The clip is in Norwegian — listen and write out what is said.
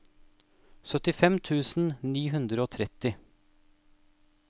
syttifem tusen ni hundre og tretti